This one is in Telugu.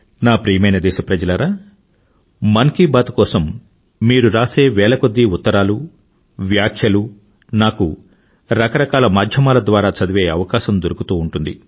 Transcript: నా ప్రియమైన దేశప్రజలారా మన్ కీ బాత్ కోసం మీరు రాసే వేల కొద్దీ ఉత్తరాలు వ్యాఖ్యలు నాకు రకరకాల మాధ్యమాల ద్వారా చదివే అవకాశం దొరుకుతూ ఉంటుంది